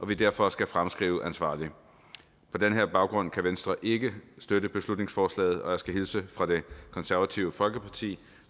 vi derfor skal fremskrive ansvarligt på den baggrund kan venstre ikke støtte beslutningsforslaget og jeg skal hilse fra det konservative folkeparti